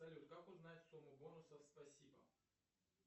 салют как узнать сумму бонусов спасибо